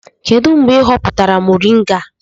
Kedu mgbe ị hoputara moringa a?